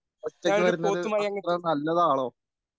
ഒറ്റയ്ക്ക് വരുന്നത് അത്ര നല്ലതാണോ?